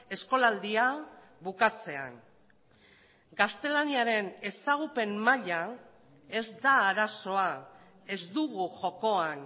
eskolaldia bukatzean gaztelaniaren ezagupen maila ez da arazoa ez dugu jokoan